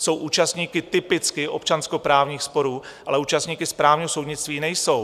Jsou účastníky typicky občanskoprávních sporů, ale účastníky správního soudnictví nejsou.